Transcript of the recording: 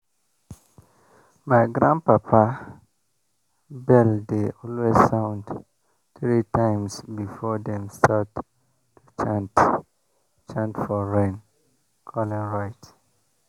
my grandpapa bell dey always sound three times before dem start to chant chant for rain-calling rite.